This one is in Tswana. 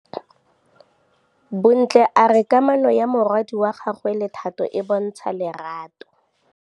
Bontle a re kamanô ya morwadi wa gagwe le Thato e bontsha lerato.